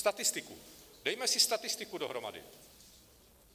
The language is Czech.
Statistiku, dejme si statistiku dohromady.